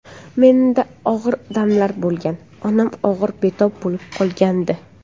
Menda og‘ir damlar bo‘lgan, onam og‘ir betob bo‘lib qolgandi.